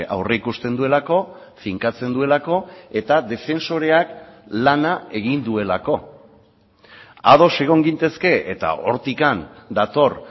aurrikusten duelako finkatzen duelako eta defensoreak lana egin duelako ados egon gintezke eta hortik dator